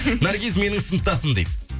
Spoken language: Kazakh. наргиз менің сыныптасым дейді